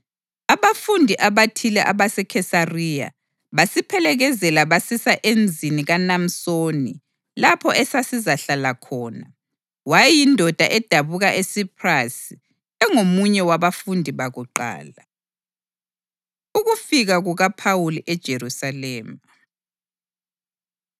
Abafundi abathile abaseKhesariya basiphelekezela basisa emzini kaMnasoni lapho esasizahlala khona. Wayeyindoda edabuka eSiphrasi, engomunye wabafundi bakuqala. Ukufika KukaPhawuli EJerusalema